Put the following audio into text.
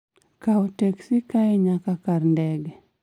kawo teksi kae nyaka kar kar ndege